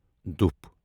دُف